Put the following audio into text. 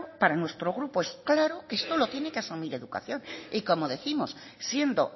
para nuestro grupo es claro esto lo tiene que asumir educación y como décimos siendo